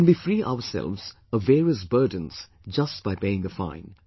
We can be free ourselves of various burdens just by paying a fine